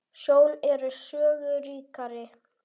Sjón er sögu ríkari.